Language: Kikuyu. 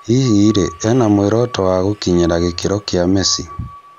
Hihi rĩ ena mworoto wa gũkinyĩra gĩkĩro kĩa Messi?